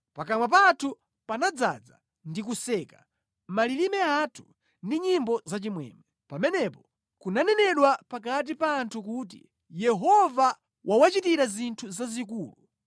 Pakamwa pathu panadzaza ndi kuseka; malilime athu ndi nyimbo zachimwemwe. Pamenepo kunanenedwa pakati pa anthu kuti, “Yehova wawachitira zinthu zazikulu.”